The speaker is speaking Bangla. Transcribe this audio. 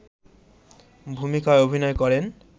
ভূমিকায় অভিনয় করেন